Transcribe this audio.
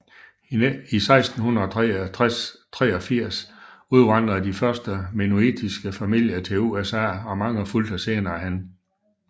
I 1683 udvandrede de første mennonittiske familier til USA og mange fulgte senerehen